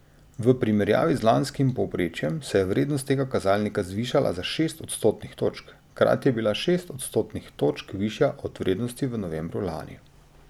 V primerjavi z lanskim povprečjem se je vrednost tega kazalnika zvišala za šest odstotnih točk, hkrati je bila šest odstotnih točk višja od vrednosti v novembru lani.